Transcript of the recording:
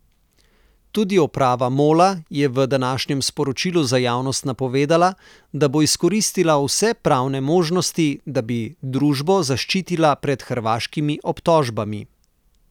Tudi uprava Mola je v današnjem sporočilu za javnost napovedala, da bo izkoristila vse pravne možnosti, da bi družbo zaščitila pred hrvaškimi obtožbami.